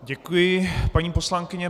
Děkuji, paní poslankyně.